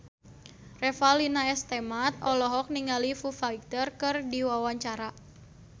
Revalina S. Temat olohok ningali Foo Fighter keur diwawancara